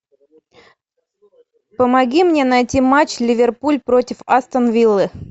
помоги мне найти матч ливерпуль против астон виллы